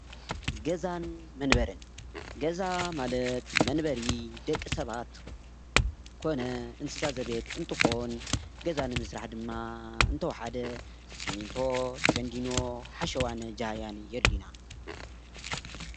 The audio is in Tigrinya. ገዛን መንበሪን ገዛ ማለት መንበሪ ደቂ ሰባት ኮነ እንስሳ ዘቤት እትኮን ገዛ ንምስራሕ ድማ እንተወሓደ ሲሚቶ ፣ቴንዲኖ ሓሸዋን ጃህያን የድልዩና።